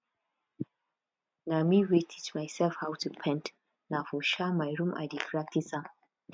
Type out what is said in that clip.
na me wey teach myself how to paint na for um my room i dey practice am